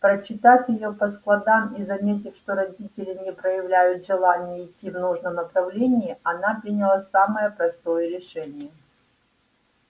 прочитав её по складам и заметив что родители не проявляют желания идти в нужном направлении она приняла самое простое решение